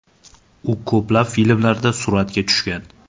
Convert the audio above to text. U ko‘plab filmlarda suratga tushgan.